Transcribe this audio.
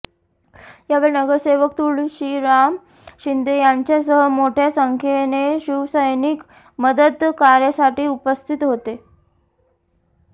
यावेळी नगरसेवक तुळशीराम शिंदे यांच्यासह मोठया संख्येने शिवसैनिक मदतकार्यासाठी उपस्थित होते